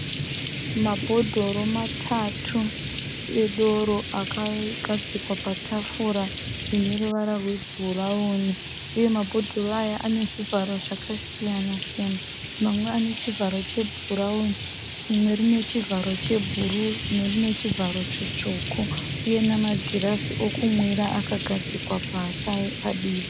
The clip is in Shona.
Mabhodhoro matatu edoro akagadzikwa patafura ine ruvara rwebhurauni uye mabhodhoro aya ane zvivharo zvakasiyana siyana. Mamwe ane chivharo chebhurauni, rimwe rine chivharo chebhuruu, rimwe rine chivharo chitsvuku uye namagirazi okumwira akagadzikwa pasi aripadivi.